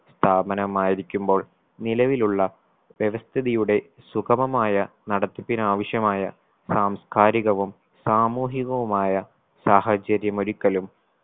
സ്ഥാപനമായിരിക്കുമ്പോൾ നിലവിലുള്ള വ്യവസ്ഥിതിയുടെ സുഗമമായ നടത്തിപ്പിനാവശ്യമായ സാംസ്കാരികവും സാമൂഹികവുമായ സാഹചര്യമൊരുക്കലും